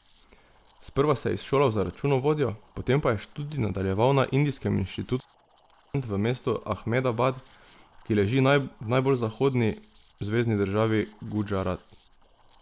Sprva se je izšolal za računovodjo, potem je študij nadaljeval na Indijskem inštitutu za menedžment v mestu Ahmedabad, ki leži v najbolj zahodni zvezni državi Gudžarat.